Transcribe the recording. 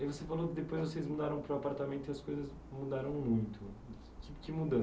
E você falou que depois vocês mudaram para o apartamento e as coisas mudaram muito. Que que